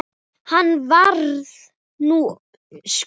Hann varði níu skot.